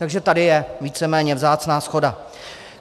Takže tady je víceméně vzácná shoda.